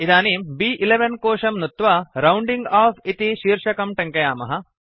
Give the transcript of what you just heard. इदानीं ब्11 कोशं नुत्वा राउण्डिंग ओफ इति शीर्षकं टङ्कयामः